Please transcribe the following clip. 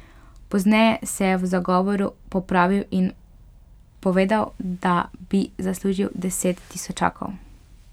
Pozneje se je v zagovoru popravil in povedal, da bi zaslužil deset tisočakov.